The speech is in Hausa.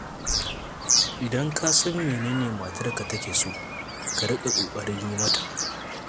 Idan ka san mene ne matarka take so, ka riƙa ƙoƙarin yi mata.